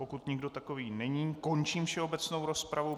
Pokud nikdo takový není, končím všeobecnou rozpravu.